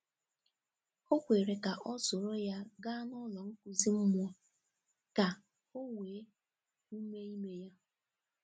Ọ kwere ka ọ soro ya gaa n’ụlọ nkuzi mmụọ ka ọ wee ume ime ya.